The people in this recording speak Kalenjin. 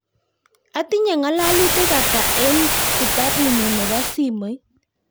Atinye ngalalutik ata en kitabunyun nebo simoit